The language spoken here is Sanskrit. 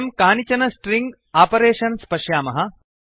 वयं कानिचन स्ट्रिङ्ग् आपरेषन्स् पश्यामः